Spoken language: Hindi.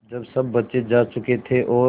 जब सब बच्चे जा चुके थे और